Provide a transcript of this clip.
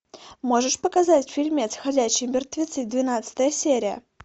можешь показать фильмец ходячие мертвецы двенадцатая серия